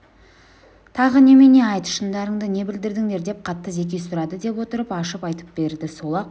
тағы немене айт шындарыңды не білдіңдер деп қатты зеки сұрады деп отырып ашып айтып берді сол-ақ